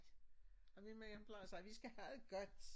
Og min med hjemmeplejer sagde vi skal have det godt